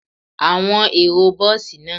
Awọn ero bọọsi naa